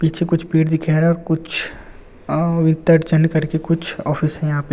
पीछे कुछ पेड़ दिख रहे है। कुछ कुछ ऑफिस में यहां पेड़--